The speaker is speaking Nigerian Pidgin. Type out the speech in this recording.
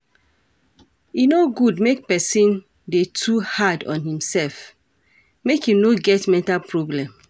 E no good make person dey too hard on im self make im no get mental problem